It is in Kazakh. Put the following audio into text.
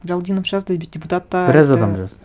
галдинов жазды и депутатта енді біраз адам жазды